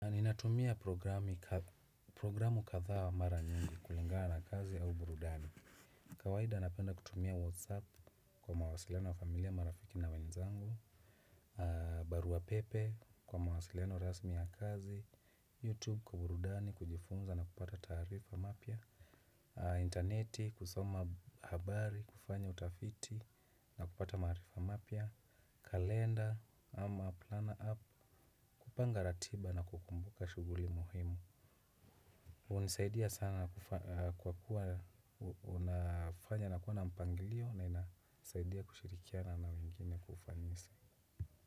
Ninatumia programu kadhaa mara nyingi kulingana na kazi au burudani. Kawaida napenda kutumia whatsapp kwa mawasileno wa familia marafiki na wenzangu. Barua pepe kwa mawasileno rasmi ya kazi, youtube kwa burudani kujifunza na kupata taarifa mapya. Interneti kusoma habari kufanya utafiti na kupata maarifa mapya. Kalenda ama planner app kupanga ratiba na kukumbuka shughuli muhimu. Hunisaidia sana kwa kuwa unafanya na kuwa na mpangilio na inasaidia kushirikiana na wengine kwa ufanisi.